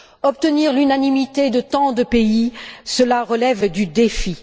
Obtenir l'unanimité de tant de pays, cela relève du défi.